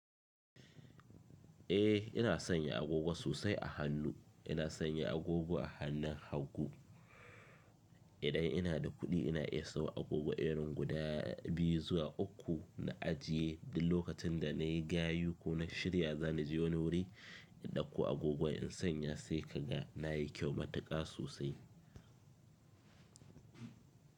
Eh ina sanya agogo sosai a hannu, ina sanya agogo a hannun hagu. Idan ina da kuɗi ina iya siyan agogo irin guda biyu zuwa uku na ajiye duk lokacin da na yi gayu ko na shirya za ni je wani wuri in dauko agogon in sanya sai kaga na yi kyau matuƙa sosai.